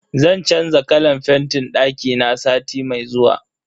Zan canza kalan fentin dakina sati mai zuwa.